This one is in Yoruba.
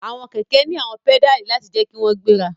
Awọn kẹkẹ ni awọn pedali lati jẹ ki wọn gbera